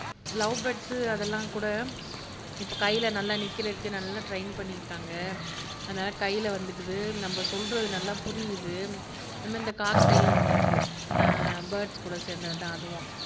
love birds அதெல்லாம் கூட இப்ப கைல நல்லா நிக்கிறதுக்கு நல்லா ட்ரைன் பண்ணிருக்காங்க அதனால கைல வந்துக்குது நம்ம சொல்றது நல்லா புரியுது நம்ம இந்த காக்டெய்ல்ன்னு ஒண்ணு இருக்கு அஹ் பேர்ட்ஸ் கூட சேர்ந்தது தான் அதுவும்